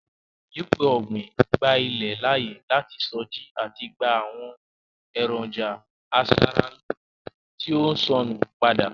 Ìyípo ọ̀gbín gba ilẹ̀ láàyè láti sọjí àti gba àwọn èròńjà asara-lóóre tí ó sọnù padà.